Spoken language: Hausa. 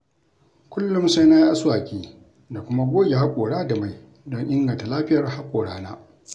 Kullum sai na yi aswaki da kuma goge haƙora da mai don inganta Lafiyar haƙorana.